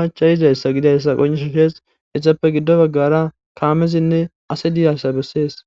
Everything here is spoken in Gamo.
machayizayssa gidayssa qonishu shees hessappe giddo baggara kaamezinne ase diaysa bessees.